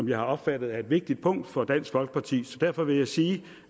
jeg har opfattet er et vigtigt punkt for dansk folkeparti så derfor vil jeg sige